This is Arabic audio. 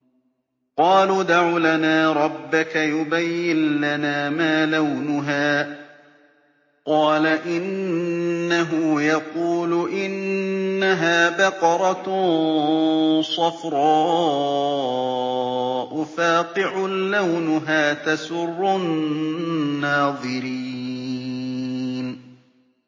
قَالُوا ادْعُ لَنَا رَبَّكَ يُبَيِّن لَّنَا مَا لَوْنُهَا ۚ قَالَ إِنَّهُ يَقُولُ إِنَّهَا بَقَرَةٌ صَفْرَاءُ فَاقِعٌ لَّوْنُهَا تَسُرُّ النَّاظِرِينَ